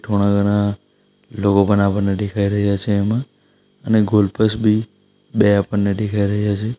થોડા ઘણા લોકો પણ આપણને દેખાઈ રહ્યા છે એમાં અને ગોલ પોસ્ટ બી દેખાઈ રહ્યા છે.